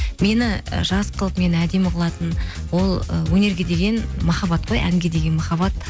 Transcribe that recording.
мені і жас қылып мені әдемі қылатын ол ы өнерге деген махаббат қой әнге деген махаббат